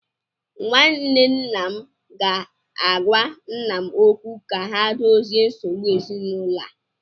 Nwanne nna m ga-agwa nna m okwu ka ha dozie nsogbu ezinụlọ a?